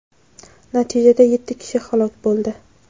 natijada yetti kishi halok bo‘ldi.